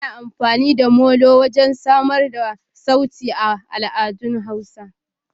Ana amfani da Molo wajen samar da sauti a al'adun hausa.